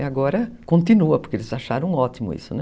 E agora continua, porque eles acharam ótimo isso, né?